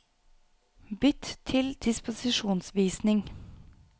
Bytt til disposisjonsvisning